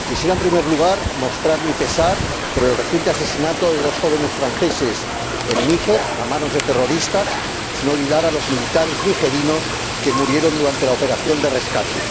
En primer lugar, quisiera mostrar mi pesar por el reciente asesinato de dos jóvenes franceses en Níger, a manos de terroristas, sin olvidar a los militares nigerinos que murieron durante la operación de rescate.